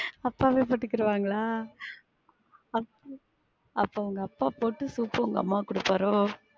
அப்பவே போட்டுகிடுவாங்கலா? அப்பா அப்ப உங்க அப்பா போட்டு soup ப்பு உங்க அம்மாக்கு குடுப்பாரோ?